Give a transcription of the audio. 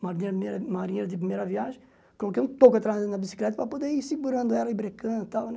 marinheiro de primeira viagem, coloquei um toco atrás da bicicleta para poder ir segurando ela e brecando e tal, né?